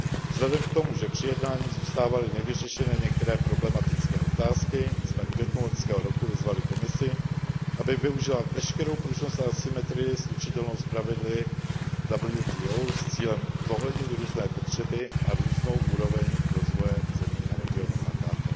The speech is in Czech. Vzhledem k tomu, že při jednáních zůstávaly nevyřešené některé problematické otázky, jsme v květnu loňského roku vyzvali Komisi, aby využila veškerou pružnost a asymetrii slučitelnou s pravidly WTO s cílem zohlednit různé potřeby a různou úroveň rozvoje zemí a regionů AKT.